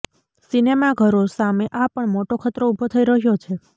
સિનેમાઘરો સામે આ પણ મોટો ખતરો ઊભો થઈ રહ્યો છે